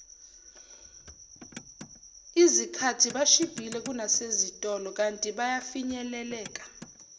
izikhathibashibhile kunasezitolo kantibafinyeleleka